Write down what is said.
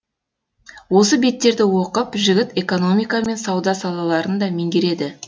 осы беттерді оқып жігіт экономика мен сауда салаларын да меңгереді